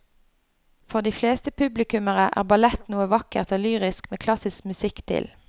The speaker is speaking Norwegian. For de fleste publikummere er ballett noe vakkert og lyrisk med klassisk musikk til.